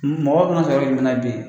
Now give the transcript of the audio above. Mɔgɔ bɛna sɔrɔ yɔrɔ jumɛn na yan bilen